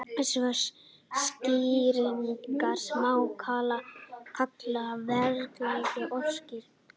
svona skýringar má kalla vélrænar orsakaskýringar